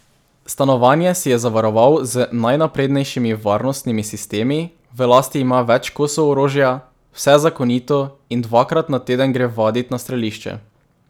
Stanovanje si je zavaroval z najnaprednejšimi varnostnimi sistemi, v lasti ima več kosov orožja, vse zakonito, in dvakrat na teden gre vadit na strelišče.